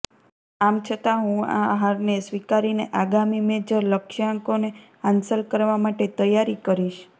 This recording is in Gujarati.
આમ છતાં હું આ હારને સ્વીકારીને આગામી મેજર લક્ષ્યાંકોને હાંસલ કરવા માટે તૈયારી કરીશ